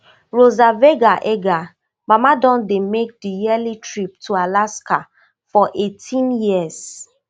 rosa vega edgar mama don dey make di yearly trip to alaska for eighteen years